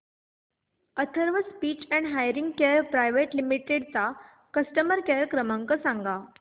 Atharva speech and hearing care private limited चा customer care क्रमांक सांगा